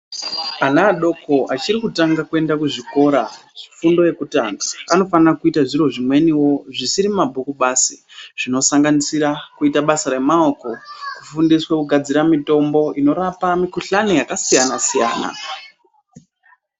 Ana adoko achiri kutanga kuenda kuzvikora zvefundo yekutanga anofana kuita zviro zvimweniwo zvisiri mumabhuku basi zvinosanganisira kuite basa remaoko, kufundiswa kugadzire mitombo inorapa mikhuhlani yakasiyana siyana.